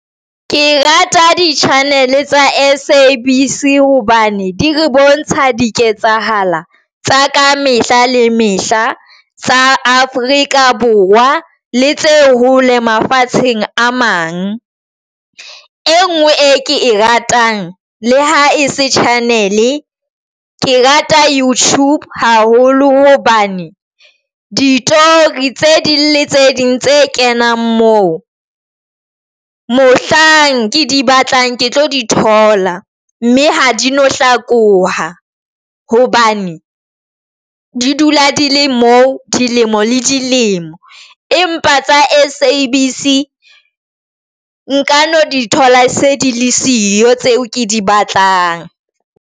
Ke rata di-channel tsa S_A_B_C hobane di re bontsha di ketsahalo tsa ka mehla le mehla tsa Afrika Borwa le tse hole mafatsheng a mang. E ngwe e ke e ratang le ha e se channel. Ke rata YouTube haholo hobane ditori tse ding le tse ding tse kenang moo mohlang ke di batlang ke tlo di thola, mme ha di no hlakoha hobane di dula di le moo dilemo le dilemo empa tsa S_A_B_C nka no di thola se di le siyo tseo ke di batlang.